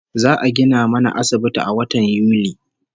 Za'a gina mana asibiti a watan Yuli